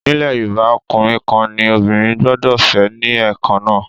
Nílẹ̀ Yorùbá, ọkùnrin kan ní obìnrin gbọ́dọ̀ fẹ́ ní Ẹ̀kan náà.